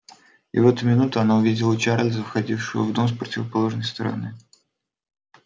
и в эту минуту она увидела чарлза входившего в дом с противоположной стороны